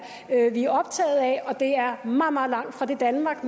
optaget af og det er meget meget langt fra det danmark